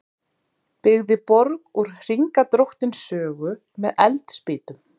Byggði borg úr Hringadróttinssögu með eldspýtum